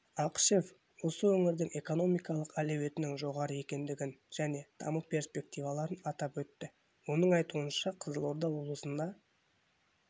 ақышев осы өңірдің экономикалық әлеуетінің жоғары екендігін және даму перспективаларын атап өтті оның айтуынша қызылорда облысында